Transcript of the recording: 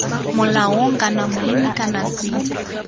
molaong kana monni kana c